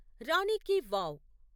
రాని కి వావ్